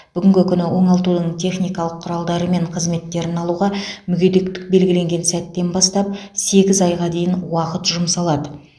бүгінгі күні оңалтудың техникалық құралдары мен қызметтерін алуға мүгедектік белгіленген сәттен бастап сегіз айға дейін уақыт жұмсалады